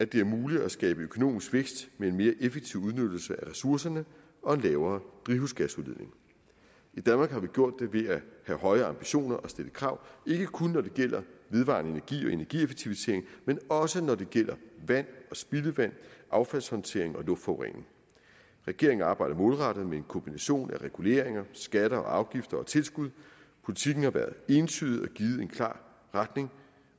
det er muligt at skabe økonomisk vækst med en mere effektiv udnyttelse af ressourcerne og en lavere drivhusgasudledning i danmark har vi gjort det ved at have høje ambitioner og stille krav ikke kun når det gælder vedvarende energi og energieffektivisering men også når det gælder vand og spildevand affaldshåndtering og luftforurening regeringen arbejder målrettet med en kombination af reguleringer skatter og afgifter og tilskud politikken har været entydig og givet en klar retning